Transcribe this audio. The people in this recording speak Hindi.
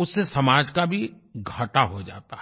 उससे समाज का भी घाटा हो जाता है